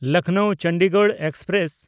ᱞᱚᱠᱷᱱᱚᱣ–ᱪᱚᱱᱰᱤᱜᱚᱲ express